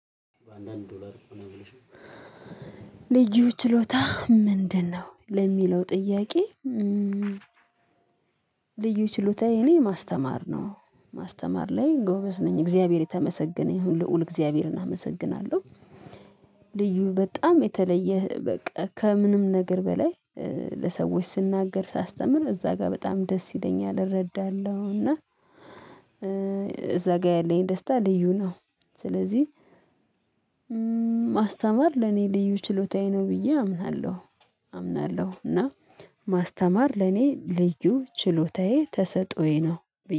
በአንዳንድ ዶላር ልዩ ችሎታ ምንድነው ለሚለው ጥያቄ? ልዩ ችሎታዬ እኔ ማስተማር ነው ማስተማር ላይ ጎበዝ ነኝ እግዚአብሔር የተመሰገነ ይሁን ልዑል እግዚአብሔርን አመሰግናለሁ። ልዩ በጣም የተለየ በቃ ከምንም ነገር በላይ። ለሰዎች ስናገር ሳስተምር እዛ ጋር በጣም ደስ ይለኛል እረዳለሁ እና። እዛ ጋር ያለኝ ደስታ ልዩ ነው። ስለዚህ ለኔ ልዩ ችሎታዬ ነው ብዬ አምናለሁ። አምናለሁ እና ማስተማር ለኔ ልዩ ችሎታዬ ተሰጥኦዬ ነው ብየ